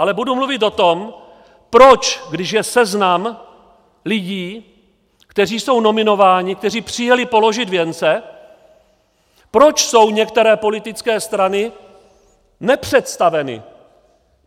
Ale budu mluvit o tom, proč, když je seznam lidí, kteří jsou nominováni, kteří přijeli položit věnce, proč jsou některé politické strany nepředstaveny.